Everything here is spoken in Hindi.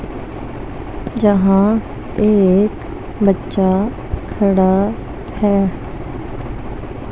जहां पे एक बच्चा खड़ा हैं।